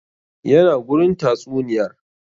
Ya na gurin a tatsuniyar?